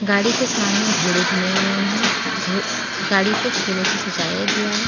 गाड़ी के सामने घोड़े बने हुए हैं गाड़ी को फूलों से सजाया गया है।